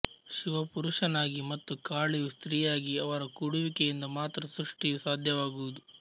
ಶಿವ ಪುರುಷನಾಗಿ ಮತ್ತು ಕಾಳಿಯು ಸ್ತ್ರೀಯಾಗಿ ಅವರ ಕೂಡುವಿಕೆಯಿಂದ ಮಾತ್ರ ಸೃಷ್ಟಿಯು ಸಾಧ್ಯವಾಗುವುದು